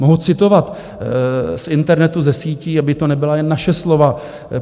Mohou citovat z internetu, ze sítí, aby to nebyla jen naše slova.